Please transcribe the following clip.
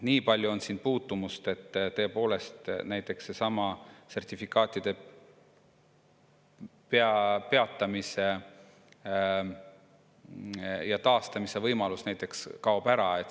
Niipalju on siin puutumust, et näiteks sertifikaatide peatamise ja taastamise võimalus kaob ära.